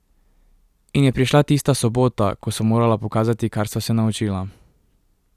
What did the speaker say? In je prišla tista sobota, ko sva morala pokazati, kar sva se naučila.